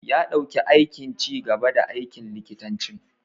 Ya dau aikin ci gaba da aikin likitanci.